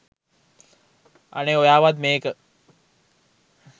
අනේ ඔයාවත් මේක